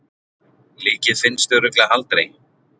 Líkið finnst örugglega aldrei.